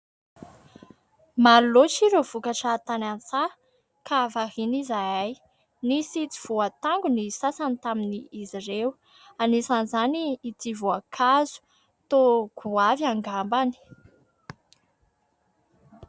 Maro loatra ireo vokatra tany an-tsahy ! ka variana izahay. Nisy tsy vohatango ny sasany taminy izy ireo, anisan'izany ity voankazo ! toa goavy angambany.